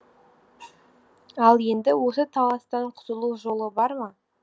ал енді осы таластан құтылу жолы бар ма